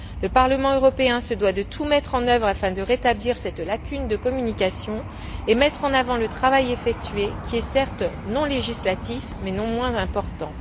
Le Parlement européen se doit de tout mettre en œuvre pour remédier à cette lacune de communication et mettre en avant le travail effectué qui est, certes, non législatif mais non moins important.